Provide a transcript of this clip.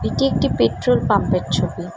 এইটি একটি petrol pump -এর ছবি।